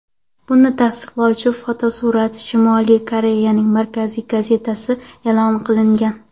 Buni tasdiqlovchi fotosuratlar Shimoliy Koreyaning markaziy gazetasida e’lon qilingan.